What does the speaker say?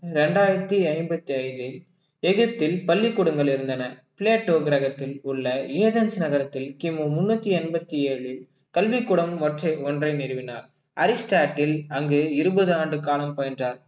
இரண்டாயிரத்தி ஐம்பத்தி ஐந்தில் எகிப்தில் பள்ளிக்கூடங்கள் இருந்தன பிளாட்டோ கிரகத்தில் உள்ள எடன்ஸ் நகரத்தில் கிமு முன்னூத்தி எண்பத்தி ஏழில் கல்விக் கூடம் ஒற்றை ஒன்றை நிறுவினார் அரிஸ்டாட்டில் அங்கு இருபது ஆண்டு காலம் பயின்றார்